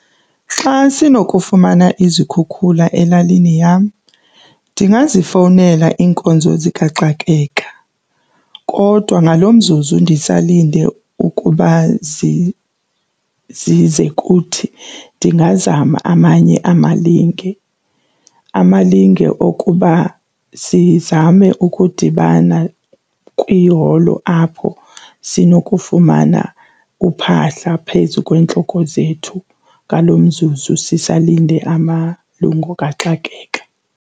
Xa sinokufumana izikhukhula elalini yam ndingazifowunela iinkonzo zikaxakeka kodwa ngalo mzuzu ndisalinde ukuba zize kuthi ndingazama amanye amalinge. Amalinge okuba sizame ukudibana kwiholo apho sinokufumana uphahla phezu kweentloko zethu ngalo mzuzu sisalinde amalungu kaxakeka.